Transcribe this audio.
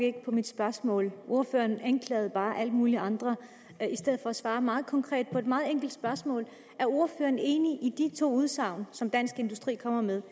ikke på mit spørgsmål ordføreren anklagede bare alle mulige andre i stedet for at svare meget konkret på et meget enkelt spørgsmål er ordføreren enig i de to udsagn som dansk industri kommer med